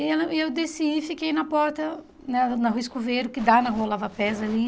E ela e eu desci e fiquei na porta, na na rua Escoveiro, que dá na rua Lava Pés ali.